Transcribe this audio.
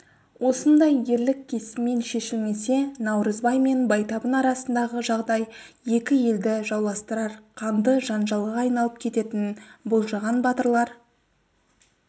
осындай ерлік кесіммен шешілмесе наурызбай мен байтабын арасындағы жағдай екі елді жауластырар қанды жанжалға айналып кететінін болжаған батырлар